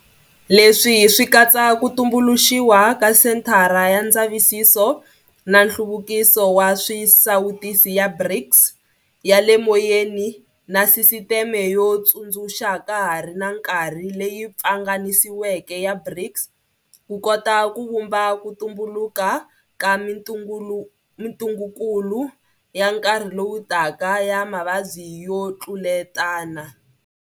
Leswi swi katsa ku tumbuluxiwa ka Senthara ya Ndza visiso na Nhluvukiso wa Swisawutisi ya BRICS ya le moyeni na Sisiteme yo Tsundzuxa ka ha ri na Nkarhi leyi Pfanganisiweke ya BRICS ku kota ku vhumba ku tumbuluka ka mitungukulu ya nkarhi lowu taka ya mavabyi yo tluletana.